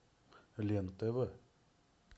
лен тв